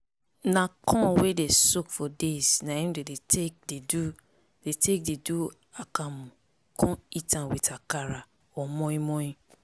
na corn wey dey soak for days na im dey take dey do take dey do akamu con eat am with akara or moin-moin